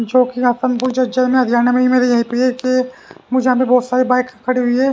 जो कि हसनपुर जज्जर में हरियाणा में मेरे यही पे के मुझे यहां पे बहुत सारी बाइक खड़ी हुई है।